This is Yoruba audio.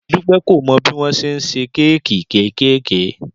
Dúpẹ́ kò mọ bí wọ́n ṣe ń ṣe kéèkì kéékèèké